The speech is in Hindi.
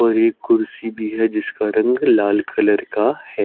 और एक कुर्सी भी है जिसका रंग लाल कलर का है।